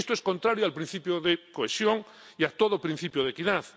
Esto es contrario al principio de cohesión y a todo principio de equidad.